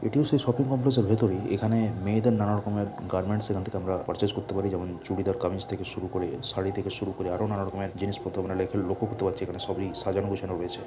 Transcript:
এটিও সেই shopping complex -এর ভিতরেই এখানে মেয়েদের নানা রকমের গার্মেন্টস এখান থেকে আমরা পারচেস করতে পাড়ি যেমন চুড়িদার কামিজ থেকে শুরু করে শাড়ি থেকে শুরু করে আরও নানা রকমের জিনিসপত্র আমরা এখানে লক্ষ্য করতে পারছি এখানে সবই সাজানো গোছানো রয়েছে।